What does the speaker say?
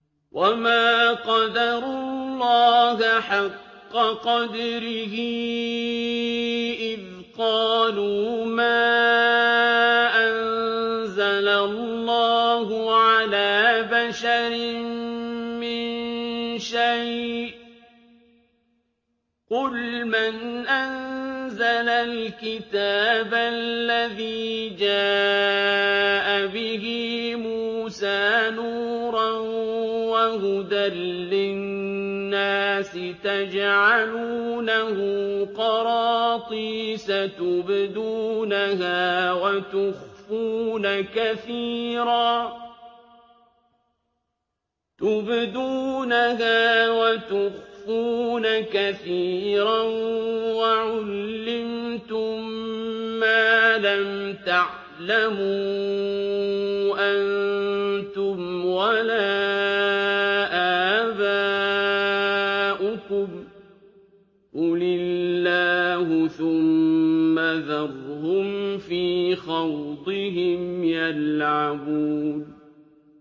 وَمَا قَدَرُوا اللَّهَ حَقَّ قَدْرِهِ إِذْ قَالُوا مَا أَنزَلَ اللَّهُ عَلَىٰ بَشَرٍ مِّن شَيْءٍ ۗ قُلْ مَنْ أَنزَلَ الْكِتَابَ الَّذِي جَاءَ بِهِ مُوسَىٰ نُورًا وَهُدًى لِّلنَّاسِ ۖ تَجْعَلُونَهُ قَرَاطِيسَ تُبْدُونَهَا وَتُخْفُونَ كَثِيرًا ۖ وَعُلِّمْتُم مَّا لَمْ تَعْلَمُوا أَنتُمْ وَلَا آبَاؤُكُمْ ۖ قُلِ اللَّهُ ۖ ثُمَّ ذَرْهُمْ فِي خَوْضِهِمْ يَلْعَبُونَ